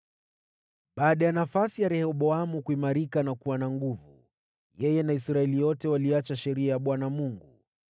Baada ya nafasi ya Rehoboamu kuimarika na kuwa na nguvu, yeye na Israeli yote waliiacha sheria ya Bwana Mungu.